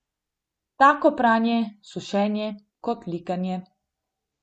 Tako pranje, sušenje kot likanje.